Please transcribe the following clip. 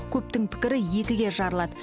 көптің пікірі екіге жарылады